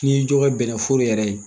N'i ye dɔ ka bɛnɛ foro yɛrɛ ye,